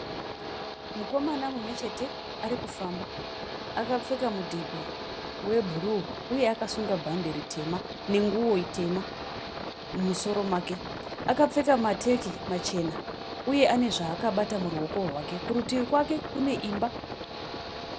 Mukomana mumwe chete arikufamba, akapfeka mudhebhe webhuruu uye akasunga bhande ritema nenguwo itema mumusoro make. Akapfeka mateki machena uye ane zvaakabata muruoko rwake kurutivi kwake kune imba.